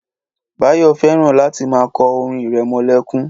Báyọ̀ fẹ́ràn láti máa kọ orin irẹmọlẹ́kún